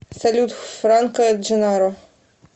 салют франко дженнаро